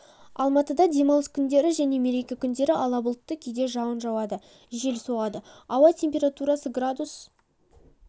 алматыда демалыс күндері және мереке күндері ала бұлтты кейде жауын жауады жел соғады ауа температурасы градус